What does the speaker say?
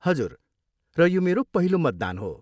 हजुर, र यो मेरो पहिलो मतदान हो।